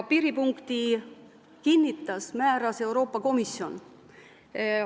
Piiripunkti määras Euroopa Komisjon.